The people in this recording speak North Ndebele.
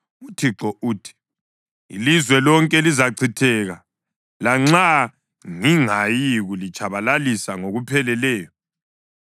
UThixo uthi: “Ilizwe lonke lizachitheka lanxa ngingayikulitshabalalisa ngokupheleleyo.